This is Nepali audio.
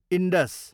इन्डस